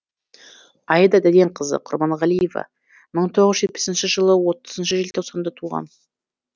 аида дәденқызы құрманғалиева мың тоғыз жүз жетпісінші жылы отызыншы желтоқсанда туған